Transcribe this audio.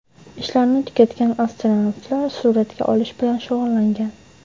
Ishlarini tugatgan astronavtlar suratga olish bilan shug‘ullangan.